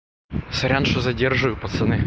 сорян что задерживаю пацаны